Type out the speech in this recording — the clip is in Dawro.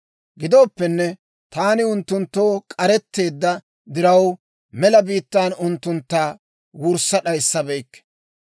Gidooppenne, taani unttunttoo k'aretteedda diraw, mela biittan unttuntta wurssa d'ayissabeykke.